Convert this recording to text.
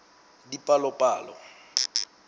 dipalopalo